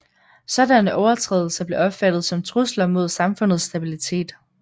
Sådanne overtrædelser blev opfattet som trusler mod samfundets stabilitet